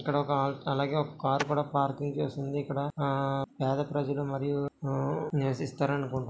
ఇక్కడొక అలాగే ఒక కార్ కూడ పార్కింగ్ చేసుంది ఇక్కడ ఆ పేద ప్రజలు మరియు ఆ నివసిస్తారనుకుంట --